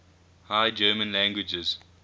high german languages